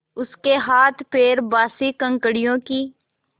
उसके हाथपैर बासी ककड़ियों की